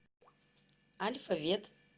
альфа вет